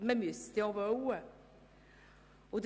Man müsste es nämlich auch wollen.